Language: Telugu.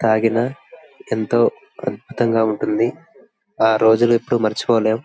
తాగిన ఎంతో అద్భుతంగా ఉంటుంది. ఆ రోజులు ఎప్పుడు మరిచిపోలేం--